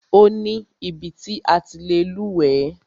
Ó ní ibi ti a ti lè lúwẹ̀ẹ́.